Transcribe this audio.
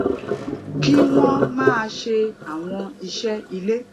kí wón máa ṣe àwọn iṣé ilé